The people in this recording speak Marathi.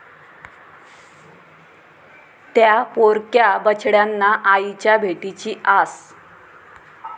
त्या' पोरक्या बछड्यांना आईच्या भेटीची आस